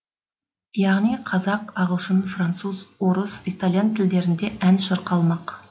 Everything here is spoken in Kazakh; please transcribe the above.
яғни қазақ ағылшын француз орыс итальян тілдерінде ән шырқалмақ